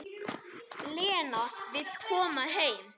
Lena vill koma heim.